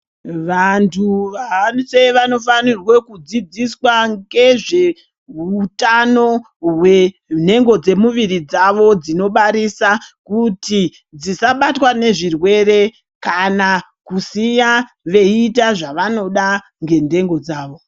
Vantu vahambe vanofanire kudzidziswa ngezveutano hwenhengo dzemuviri dzawo dzinobarisa kuti dzisabatwa nezvirwere kana kusiya veiita zvavanoda ngentengo dzawo.